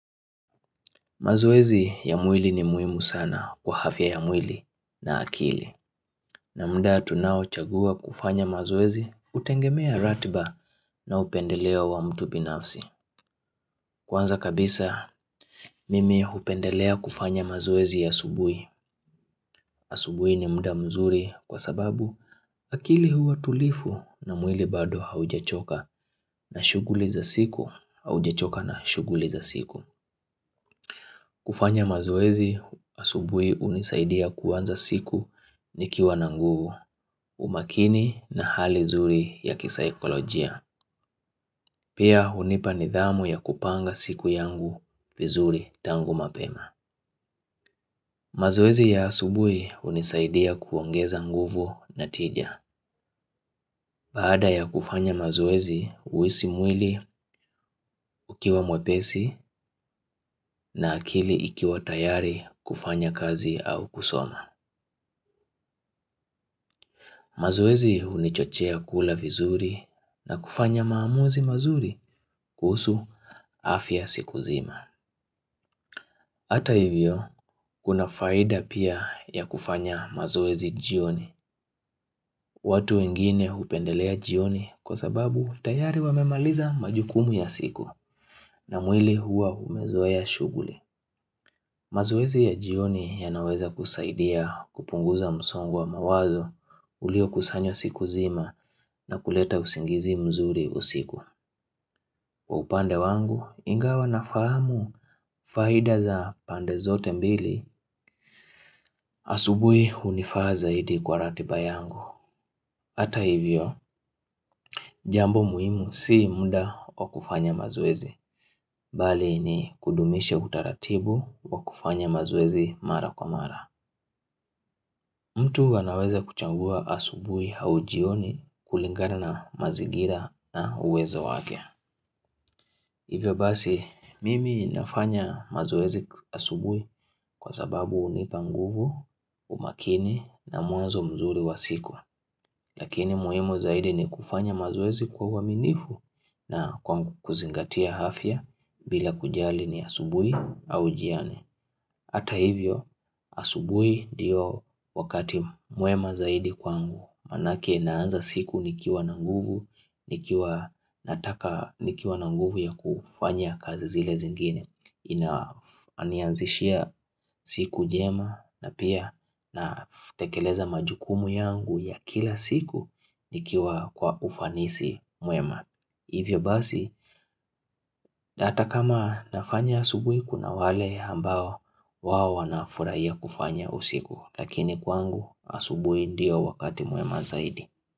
Mazoezi ya mwili ni muhimu sana kwa afya ya mwili na akili. Na muda tunaochagua kufanya mazoezi, hutegemea ratiba na upendeleo wa mtu binafsi. Kwanza kabisa, mimi hupendelea kufanya mazoezi asubuhi. Asubuhi ni muda mzuri kwa sababu akili huwa tulivu na mwili bado haujachoka na shughuli za siku haujachoka na shughuli za siku. Kufanya mazoezi asubuhi hunisaidia kuanza siku nikiwa na nguvu umakini na hali nzuri ya kisaikolojia. Pia hunipa nidhamu ya kupanga siku yangu vizuri tangu mapema. Mazoezi ya asubuhi hunisaidia kuongeza nguvu na tija. Baada ya kufanya mazoezi huhisi mwili ukiwa mwepesi na akili ikiwa tayari kufanya kazi au kusoma. Mazoezi hunichochea kula vizuri na kufanya maamuzi mazuri kuhusu afya siku nzima. Hata hivyo, kuna faida pia ya kufanya mazoezi jioni. Watu wengine hupendelea jioni kwa sababu tayari wamemaliza majukumu ya siku na mwili hua umezoea shughuli. Mazoezi ya jioni yanaweza kusaidia kupunguza msongo wa mawazo ulio kusanywa siku nzima na kuleta usingizi mzuri usiku. Kwa upande wangu ingawa nafahamu faida za pande zote mbili asubuhi hunifaa zaidi kwa ratiba yangu. Hata hivyo, jambo muhimu si muda wa kufanya mazoezi. Bali ni kudumisha utaratibu wa kufanya mazoezi mara kwa mara. Mtu anaweza kuchangua asubuhi au jioni kulingana na mazingira na uwezo wake. Hivyo basi, mimi nafanya mazoezi asubuhi kwa sababu hunipa nguvu, umakini na mwanzo mzuri wa siku. Lakini muhimu zaidi ni kufanya mazoezi kwa uaminifu na kwa kuzingatia afya bila kujali ni asubuhi au jioni. Hata hivyo, asubuhi ndiyo wakati mwema zaidi kwangu. Maanake naanza siku nikiwa na nguvu, nikiwa nataka nikiwa na nguvu ya kufanya kazi zile zingine Inanianzishia siku jema na pia na tekeleza majukumu yangu ya kila siku nikiwa kwa ufanisi mwema Hivyo basi na hata kama nafanya asubuhi kuna wale ambao wao wanafurahia kufanya usiku Lakini kwangu asubuhi ndio wakati mwema zaidi.